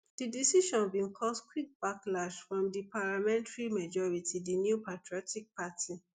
di decision bin cause quick backlash from di parliamentary majority di new patriotic party